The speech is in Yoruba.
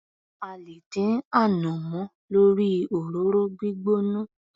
A lè dín ànàmọ́ lórí òróró gbígbóná.